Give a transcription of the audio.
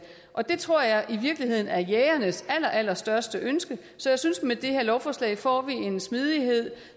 det tror jeg i virkeligheden er jægernes allerallerstørste ønske så jeg synes at vi med det her lovforslag får en smidighed